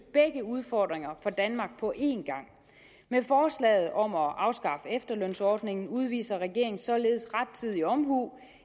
begge udfordringer for danmark på en gang med forslaget om at afskaffe efterlønsordningen udviser regeringen således rettidig omhu